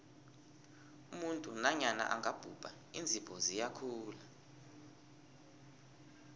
umuntu nanyana angabhubha iinzipho ziyakhula